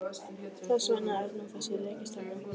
Þess vegna er nú þessi rekistefna.